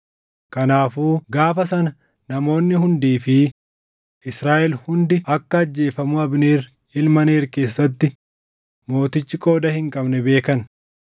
Kanaafuu gaafa sana namoonni hundii fi Israaʼel hundi akka ajjeefamuu Abneer ilma Neer keessatti mootichi qooda hin qabne beekan.